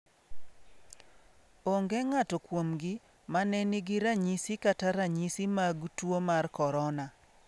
Onge ng'ato kuomgi mane nigi ranyisi kata ranyisi mag tuo mar Korona.